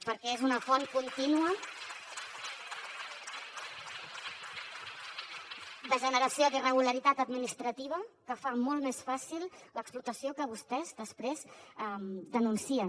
perquè és una font contínua de generació d’irregularitat administrativa que fa molt més fàcil l’explotació que vostès després denuncien